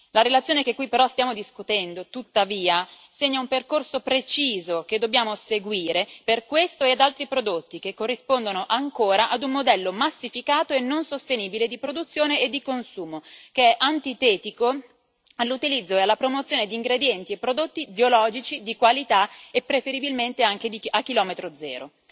La relazione che qui stiamo discutendo, tuttavia, segna un percorso preciso che dobbiamo seguire per questo ed altri prodotti, che corrispondono ancora ad un modello massificato e non sostenibile di produzione e di consumo, che è antitetico all'utilizzo e alla promozione di ingredienti e prodotti biologici, di qualità e preferibilmente anche a chilometro zero.